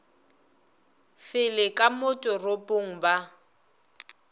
fele ka mo toropong ba